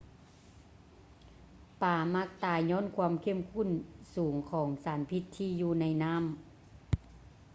ປາມັກຕາຍຍ້ອນຄວາມເຂັ້ມຂຸ້ນສູງຂອງສານພິດທີ່ຢູ່ໃນນໍ້າ